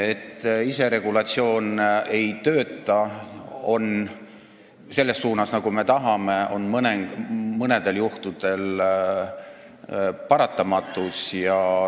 Et iseregulatsioon ei tööta selles suunas, nagu me tahame, on mõnedel juhtudel paratamatus.